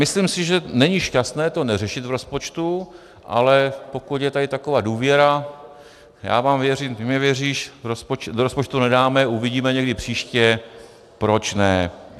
Myslím si, že není šťastné to neřešit v rozpočtu, ale pokud je tady taková důvěra, já vám věřím, ty mi věříš, do rozpočtu nedáme, uvidíme někdy příště, proč ne.